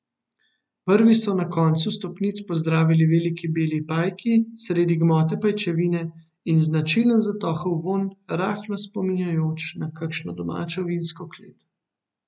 Prvi so na koncu stopnic pozdravili veliki beli pajki sredi gmote pajčevine in značilen zatohel vonj, rahlo spominjajoč na kakšno domačo vinsko klet.